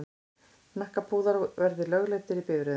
Hnakkapúðar verði lögleiddir í bifreiðum.